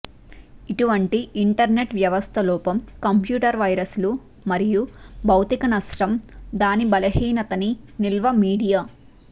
ఇటువంటి ఇంటర్కనెక్ట్ వ్యవస్థ లోపం కంప్యూటర్ వైరస్లు మరియు భౌతిక నష్టం దాని బలహీనతని నిల్వ మీడియా